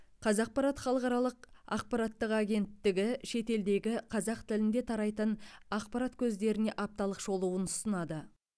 қазақпарат халықаралық ақпараттық агенттігі шетелдегі қазақ тілінде тарайтын ақпарат көздеріне апталық шолуын ұсынады